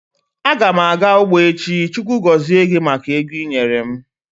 Agam aga ugbo echi. Chukwu gozie gi maka ego ị nyere m.